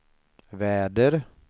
väder